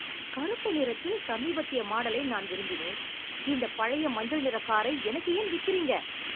கருப்பு நிறத்தில் சமீபத்திய மாடலை நான் விரும்பினேன். இந்தப் பழைய மஞ்சள் நிறக் காரை எனக்கு ஏன் விக்கிறீங்க?